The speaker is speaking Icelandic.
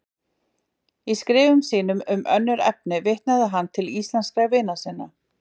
Í skrifum sínum um önnur efni vitnaði hann til íslenskra vina sinna.